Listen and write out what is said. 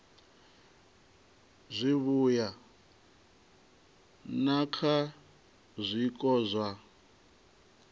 zwivhuya na kha zwiko zwa